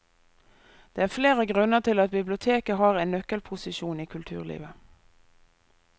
Det er flere grunner til at biblioteket har en nøkkelposisjon i kulturlivet.